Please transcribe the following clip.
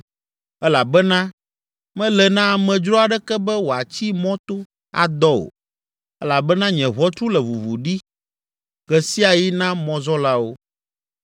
elabena mele na amedzro aɖeke be wòatsi mɔto adɔ o elabena nye ʋɔtru le ʋuʋu ɖi ɣe sia ɣi na mɔzɔlawo.